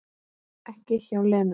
Ekki hjá Lenu